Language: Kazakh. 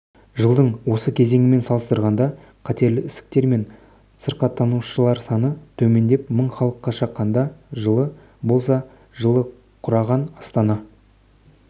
жылдың осы кезеңімен салыстырғанда қатерлі ісіктермен сырқаттанушыларсаны төмендеп мың халыққа шаққанда жылы болса жылы құраған астана